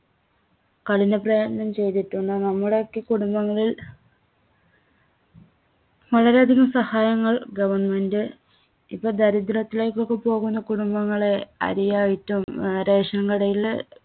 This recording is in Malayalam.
കഠിന പ്രയത്നം ചെയ്‌തിട്ടുണ്ട്‌. നമ്മുടെയൊക്കെ കുടുംബങ്ങളിൽ വളരെ അധികം സഹായങ്ങൾ Government ഇപ്പോ ദരിദ്ര്യത്തിലേക്കൊക്കെ പോകുന്ന കുടുംബങ്ങളെ അരിയായിട്ടും അഹ് ration കടയില്